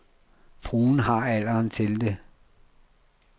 Fruen har alderen til det.